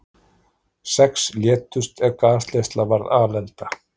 Sex létust er gasleiðsla varð alelda